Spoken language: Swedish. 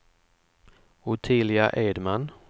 Ottilia Edman